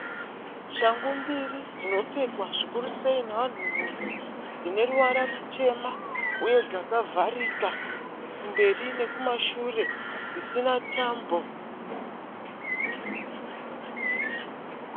Shangu mbiri dzinopfekwa zvikuru sei nevanhurume dzine ruvara rutema uye dzakavharika kumberi nekumashure dzisina tambo.